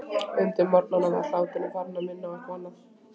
Undir morgun var hláturinn farinn að minna á eitthvað annað.